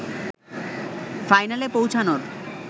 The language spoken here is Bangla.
ফাইনালে পৌঁছানোর